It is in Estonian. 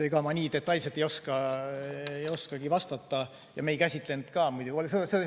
Ega ma nii detailselt ei oska vastata ja me seda ei käsitlenud ka.